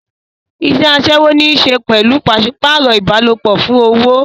Iṣẹ́ aṣẹ́wó ní í ṣe pẹ̀lú pàṣípààrọ̀ ìbálòpọ̀ fún owó.